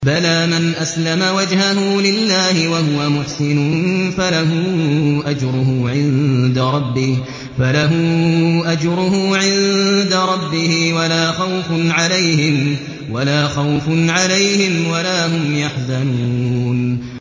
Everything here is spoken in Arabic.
بَلَىٰ مَنْ أَسْلَمَ وَجْهَهُ لِلَّهِ وَهُوَ مُحْسِنٌ فَلَهُ أَجْرُهُ عِندَ رَبِّهِ وَلَا خَوْفٌ عَلَيْهِمْ وَلَا هُمْ يَحْزَنُونَ